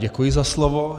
Děkuji za slovo.